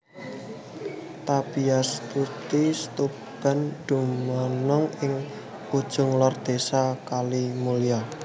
Tarbiyatusy Syubban dumunung ing ujung lor Désa Kalimulya